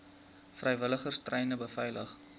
vrywilligers treine beveilig